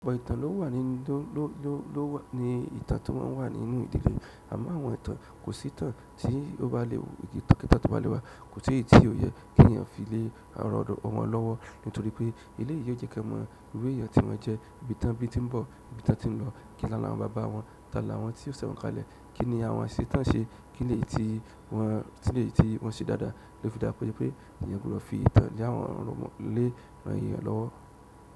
Ọ̀pọ̀ ìtàn ló wà nínú ló ló ló wà ní ìtàn tí wọ́n wà nínú ìdílé, àmọ́ àwọn ìtàn kò sí ìtàn tí ó bá lè wù kí ìpàdé tó bá lẹ́wà, kò sí èyí tí ó yẹ kí ènìyàn fi lé ọ̀rọ̀ ọmọ wọn lọ́wọ́ nítorí pé ileyi ò jẹ́ kí a mọ irú èèyàn tí wọ́n jẹ́, ibi tí wọ́n ti ń bọ̀, ibi tí wọ́n ti ń lọ, kí ni àwọn bàbá wọn, ta ni àwọn tí ó ṣẹ̀wọ̀n kalẹ̀, kí ni àwọn ṣe tán ṣe, kí ni èyí tí wọ́n ti lè tí wọ́n ṣe dáadáa, ló fi dá pé èeyàn gbọ́dọ̀ fi ìtàn lé àwọn ọmọ lé àwọn eeyàn lọ́wọ́.